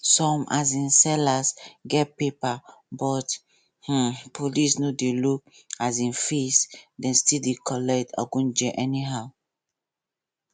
some um sellers get paper but um police no dey look um face dem still dey collect egunje anyhow